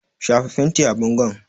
Shafa fenti a bangon!